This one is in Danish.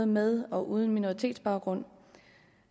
med og uden minoritetsbaggrund